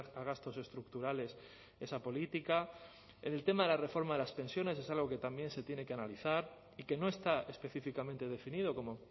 a gastos estructurales esa política en el tema de la reforma de las pensiones es algo que también se tiene que analizar y que no está específicamente definido como